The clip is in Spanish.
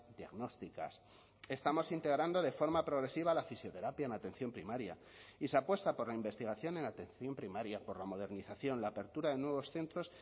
diagnósticas estamos integrando de forma progresiva la fisioterapia en atención primaria y se apuesta por la investigación en atención primaria por la modernización la apertura de nuevos centros